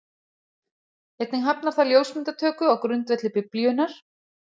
Einnig hafnar það ljósmyndatöku á grundvelli Biblíunnar.